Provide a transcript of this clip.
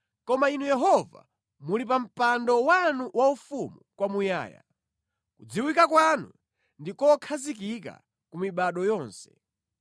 Koma Inu Yehova, muli pa mpando wanu waufumu kwamuyaya; kudziwika kwanu ndi kokhazikika ku mibado yonse.